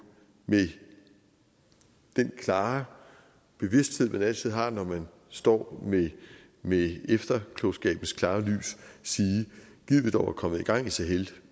med den klare bevidsthed man altid har når man står med efterklogskabens klare lys sige gid vi dog var kommet i gang i sahel